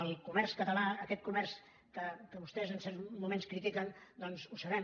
el comerç català aquest comerç que vostès en certs moments critiquen ho sabem